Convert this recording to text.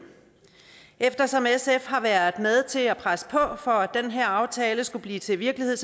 eftersom sf har været med til at presse på for at den her aftale skulle blive til virkelighed